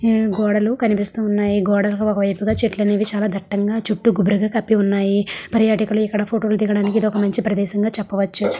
హమ్ గోడలు కనిపిస్తూ ఉన్నాయి గోడకు ఒక వైపు గ చెట్లు అనేది చాల దట్టంగా చుట్టూ గుబురుగా కప్పి ఉన్నాయి పరియటకులు ఇక్కడ ఫోటో దిగడానికి ఇది ఒక మంచి ప్రదేశం గ చెప్పవచ్చు.